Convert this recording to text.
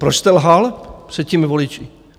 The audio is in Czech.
Proč jste lhal před těmi voliči?